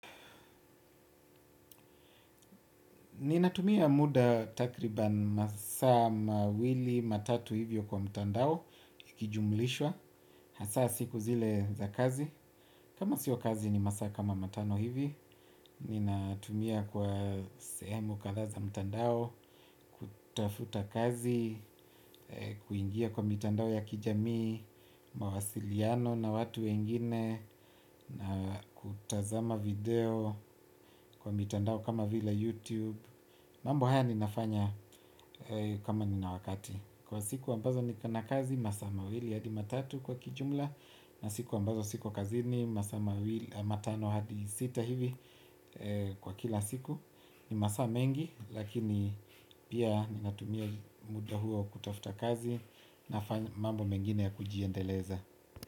Ninatumia muda takriban masaa mawili, matatu hivyo kwa mtandao, ikijumulishwa, hasaa siku zile za kazi. Kama sio kazi ni masaa kama matano hivi, ninatumia kwa sehemu kadhaa za mtandao, kutafuta kazi, kuingia kwa mitandao ya kijami, mawasiliano na watu wengine na kutazama video kwa mitandao kama vile. YouTube. Mambo haya ninafanya kama nina wakati. Kwa siku ambazo niko na kazi, masaa mawili hadi matatu kwa kijumla. Na siku ambazo siko kazini masaa mawili, matano hadi sita hivi kwa kila siku. Ni masaa mengi lakini pia ninatumia muda huo kutafuta kazi. Na mambo mengine ya kujiendeleza.